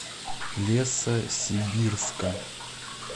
лесосибирска